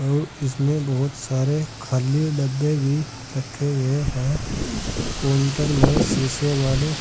और इसमें बहोत सारे खाली डब्बे भी रखे हुए हैं काउंटर में शीशे वाले--